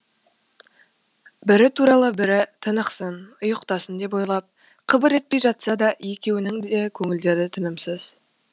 бірі туралы бірі тынықсын ұйықтасын деп ойлап қыбыр етпей жатса да екеуінің де көңілдері тынымсыз